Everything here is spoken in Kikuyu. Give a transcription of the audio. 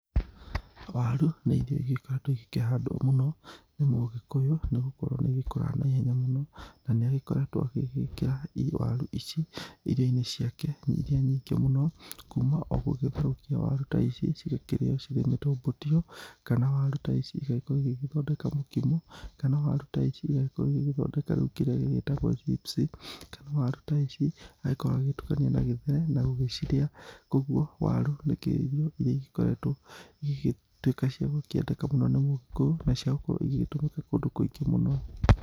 Waru nĩ irio igĩkoretwo igĩkĩhandwo mũno nĩ mũgĩkũyũ nĩ gũkorwo nĩ igĩkũraga na ihenya mũno, na nĩ agĩkoretwo agĩgĩkĩra waru ici irio-inĩ ciake iria nyingĩ mũno, kuma o gũgĩtherũkia waru ta ici cigakĩrĩo cirĩ mũtũmbũtio, kana waru ta ici igagĩkorwo igĩgĩthondeka mũkimo, kana waru ta ici igagĩkorwo igĩgĩthondeka kĩrĩa gĩgĩtagwo rĩu chips kana waru ta ici agakorwo agĩtukania na gĩthere na gũgĩcirĩa. Kũguo waru nĩkio irio iria igĩkoretwo igĩtuĩka cia gũkĩendeka mũno nĩ mũgĩkũyũ na cia gũkorwo igĩgĩtũmĩka kũndũ kũingĩ mũno